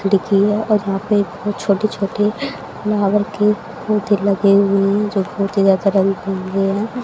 दिखी है और यहां पे दो छोटे छोटे महावर के लगे हुए हैं जो बहुत ही ज्यादा रंग हैं।